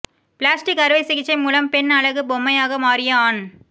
plastic அறுவை சிகிச்சை மூலம் பெண் அழகு பொம்மையாக மாறிய ஆண்